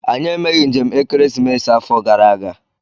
Anyị emeghị njem ekeresimesi afọ gara aga.